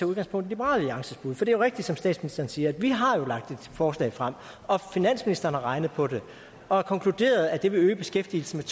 udgangspunkt i liberal alliances bud for det er jo rigtigt som statsministeren siger at vi har lagt et forslag frem og finansministeren har regnet på det og konkluderede at det vil øge beskæftigelsen